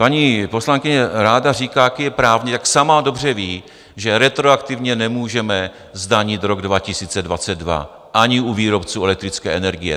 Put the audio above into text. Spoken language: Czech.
Paní poslankyně ráda říká, jaký je právník, tak sama dobře ví, že retroaktivně nemůžeme zdanit rok 2022 ani u výrobců elektrické energie.